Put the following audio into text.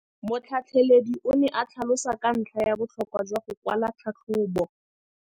Motlhatlheledi o ne a tlhalosa ka ntlha ya botlhokwa jwa go kwala tlhatlhôbô.